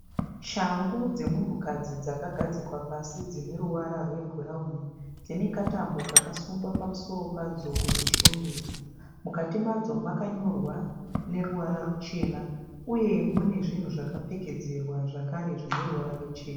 Shangu dzemunhukadzi dzakagadzikwa pasi dzinoruvara rwebhurauni. Dzinekatambo kakasungwa pamusoro padzo kudzishongedza. Mukati madzo makanyorwa neruvara ruchena uye munezvinhu zvakapfekedzerwa zvakare zvineruvara ruchena.